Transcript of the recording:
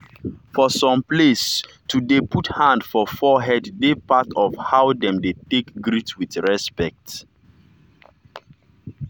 for some placeto dey put hand for forehead dey part of how dem take dey greet with respect.